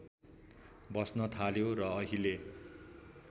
बस्न थाल्यो र अहिले